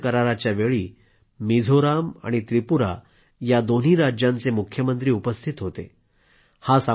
या सामंजस्य कराराच्यावेळी मिझोराम आणि त्रिपुरा या दोन्ही राज्यांचे मुख्यमंत्री उपस्थित होते